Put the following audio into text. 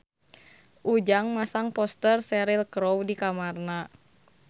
Ujang masang poster Cheryl Crow di kamarna